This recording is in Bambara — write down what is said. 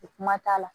O kuma t'a la